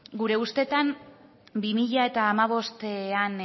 gure ustetan bi mila hamabostean